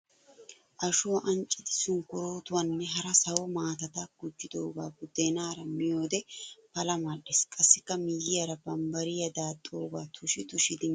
Ashuwaa anccidi sunkkuruutuwanne hara sawo maatata gujjidoogaa buuddeenaara miyoodee pala madhdhees. Qassikka miyiyaara bambbariyaa daaxxidoogaa tushi tushidi miyoodee asawu immoppa immoppa ges.